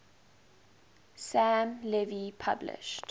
sam levy published